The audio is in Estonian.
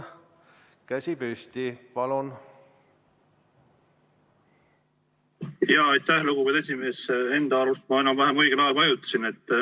Enda arust ma vajutasin enam-vähem õigel ajal.